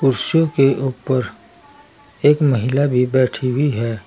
कुर्सी के ऊपर एक महिला भी बैठी हुई है।